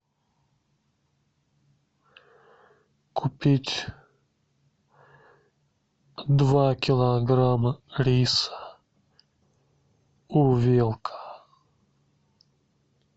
купить два килограмма риса увелка